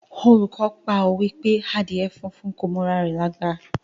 Olùkọ́ pa òwe pé Àdíè funfun kò m'ora rẹ̀ lágbà.